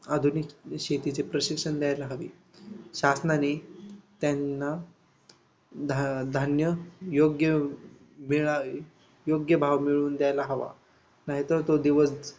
आधुनिक शेतीचं प्रशिक्षण द्यायला हवी. शासनाने त्यांना धाधान्य योग्य मिळावे योग्य भाव मिळवून द्यायला हवा. नाही तर तो